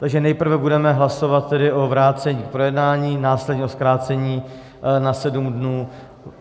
Takže nejprve budeme hlasovat tedy o vrácení k projednání, následně o zkrácení na sedm dnů.